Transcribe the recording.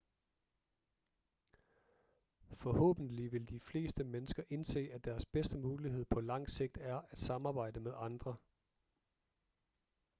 forhåbentlig vil de fleste mennesker indse at deres bedste mulighed på lang sigt er at samarbejde med andre